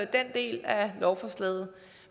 den del af lovforslaget